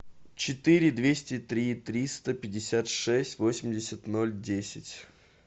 четыре двести три триста пятьдесят шесть восемьдесят ноль десять